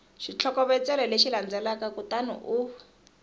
xitlhokovetselo lexi landzelaka kutani u